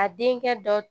A denkɛ dɔ